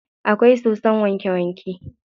Akwai sosson wanke wanke.